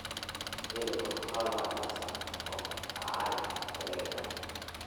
tipika oltuala le saa tomon oare tedekenya